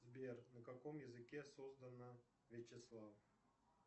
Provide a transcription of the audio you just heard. сбер на каком языке создано вячеслав